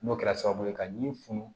N'o kɛra sababu ye ka min funu